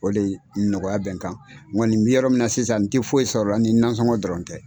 O le nɔgɔya bɛ n kan n kɔni mi yɔrɔ min na sisan n tɛ foyi sɔrɔ la ni nansɔngɔn dɔrɔn tɛ.